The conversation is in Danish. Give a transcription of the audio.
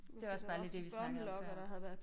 Det var også bare lige det vi snakkede om der